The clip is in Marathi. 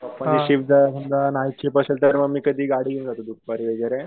पापांची जर कधी नाईट शिफ्ट असेल तर मी गाडी घेऊन जातो दुपारी वगैरे.